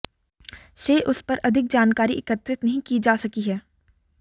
से उस पर अधिक जानकारी एकत्रित नहीं की जा सकी है